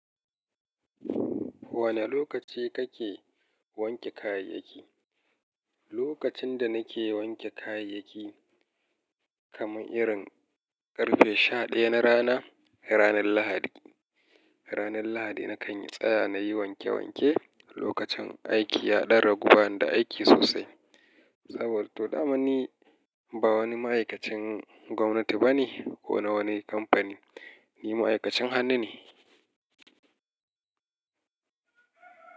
Wane lokaci kake wanke kayayyaki? Lokacin da nake wanke kayayyaki kaman irin ƙarfe sha ɗaya na rana, ranar Lahadi. Ranar Lahadi na kan tsaya na yi wanke wanke, lokacin aiki ya ɗan ragu bani da aiki sosai. Saboda to dama ni ba wani ma'aikacin gwamnati bane ko na wani kamfani, ni ma'aikacin hannu ne.